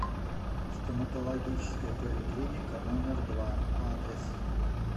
стоматологическая поликлиника номер два адрес